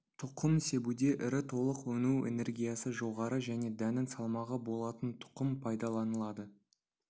тұқым себуде ірі толық өну энергиясы жоғары және дәннің салмағы болатын тұқым пайдаланылады